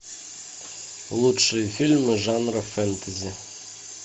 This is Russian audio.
лучшие фильмы жанра фэнтези